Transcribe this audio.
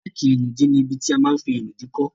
Ráàkì ìnùdí ní ibi tí a ma n fí ìnùdí kọ́